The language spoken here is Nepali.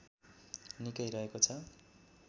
निकै रहेको छ